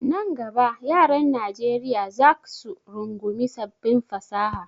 Nan gaba yaran Najeriya zac su rungumi sabbin fasaha.